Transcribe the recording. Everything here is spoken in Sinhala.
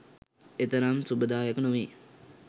එතරම් සුබදායක නොවේ